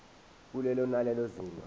kulelo nalelo zinga